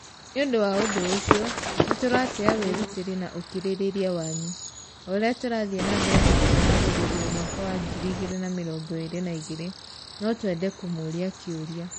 "Nĩ ũndũ wa ũndũ ũcio, nĩ tũratĩa wĩrutĩri na ũkirĩrĩria wanyu! O ũrĩa tũrathiĩ na mbere na kwĩhaarĩria mwaka wa 2022, no twende kũmũũria kĩũria".